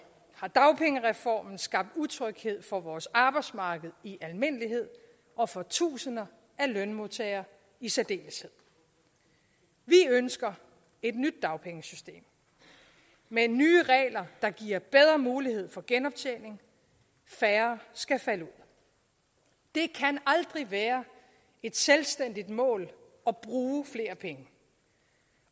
har dagpengereformen skabt utryghed for vores arbejdsmarked i almindelighed og for tusinder af lønmodtagere i særdeleshed vi ønsker et nyt dagpengesystem med nye regler der giver bedre mulighed for genoptjening færre skal falde ud det kan aldrig være et selvstændigt mål at bruge flere penge